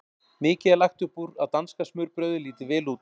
Mikið er lagt upp úr að danska smurbrauðið líti vel út.